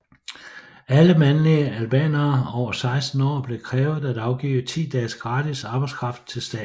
Alle mandlige albanere over 16 år blev krævet at afgive ti dages gratis arbejdskraft til staten